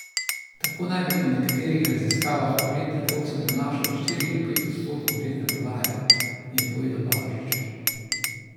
Tako naj bi po nekaterih raziskavah ugled trgovcem prinašal od štiri do pet odstotkov letne prodaje, je povedal Balažič.